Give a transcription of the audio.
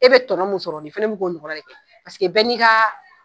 I be tɔnɔ mun sɔrɔ nin fana bi ka ɲɔgɔnna de ɲini paseke bɛɛ ni ka